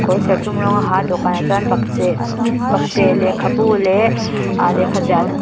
kawr serthlawm rawng a ha a dawhkanah chuan bakcheh bakcheh lehkhabu leh ahh lehkha ziahna hman--